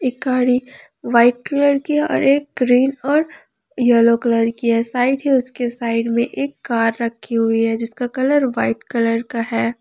गाड़ी white colour की और एक ग्रीन और येलो कलर की है शायद ये उसके साइड में एक कार रखी हुई है जिसका कलर वाइट कलर का है।